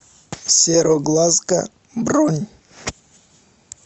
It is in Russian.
сероглазка бронь